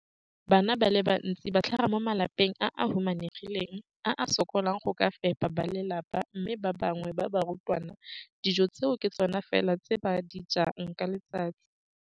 Bana ba le bantsi ba tlhaga mo malapeng a a humanegileng a a sokolang go ka fepa ba lelapa mme ba bangwe ba barutwana, dijo tseo ke tsona fela tse ba di jang ka letsatsi.